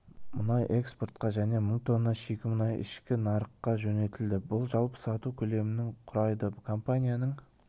мұнай экспортқа және мың тонна шикі мұнай ішкі нарыққажөнелтілді бұл жалпы сату көлемінің құрайды компанияның